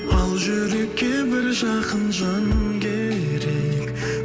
ал жүрекке бір жақын жан керек